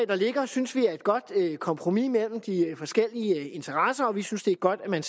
der ligger synes vi er et godt kompromis mellem de forskellige interesser og vi synes det er godt at man